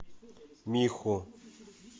миху